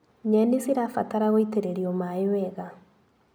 Nyeni cirabatara gũitĩrĩrio maĩ wega.